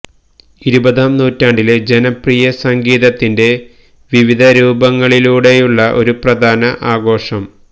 ഇരുപതാം നൂറ്റാണ്ടിലെ ജനപ്രിയ സംഗീതത്തിന്റെ വിവിധ രൂപങ്ങളിലൂടെയുള്ള ഒരു പ്രധാന ആഘോഷം